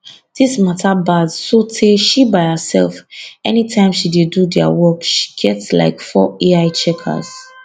dis mata bad sotey she by herself anytime she dey do dia work she get like four ai checkers